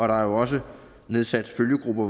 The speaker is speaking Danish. der er jo også nedsat følgegrupper